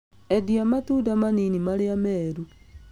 Endia matunda manini marĩa meeru